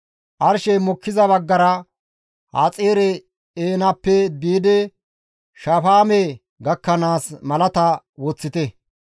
« ‹Arshey mokkiza baggara Haxaare-Eenaneppe biidi Shafaame gakkanaas malata woththite.